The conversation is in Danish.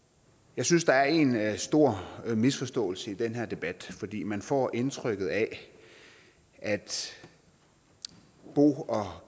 jeg synes der er en stor misforståelse i den her debat man får indtrykket af at bo og